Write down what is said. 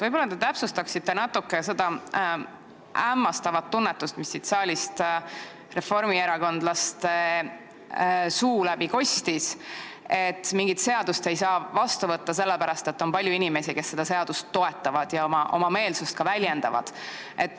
Võib-olla te täpsustate natuke seda hämmastavat tunnetust, mis siit saalist reformierakondlaste suu läbi kostis, et mingit seadust ei saa vastu võtta sellepärast, et on palju inimesi, kes seda seadust toetavad ja ka oma meelsust väljendavad.